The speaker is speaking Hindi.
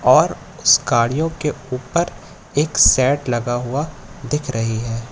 और उस गाड़ियों के ऊपर एक सेट लगा हुआ दिख रही है।